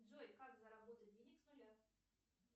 джой как заработать денег с нуля